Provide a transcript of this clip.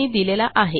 यांनी दिलेला आहे